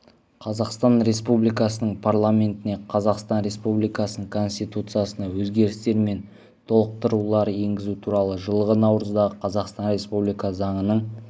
қазақстан республикасының парламентіне қазақстан республикасының конституциясына өзгерістер мен толықтырулар енгізу туралы жылғы наурыздағы қазақстан республикасы заңының